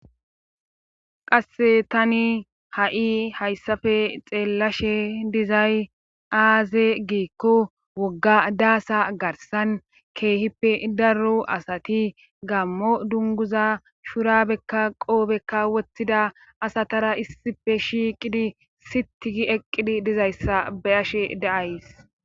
Qasse tani ha7i hayssappe xeellashe dizay aaze giikko wogga daasa garsan keehippe daro asati gammo dunguza shurabekka qoobekka wottida asatara issippe shiiqidi sitigi eqqidi dizayssa beyashe daays.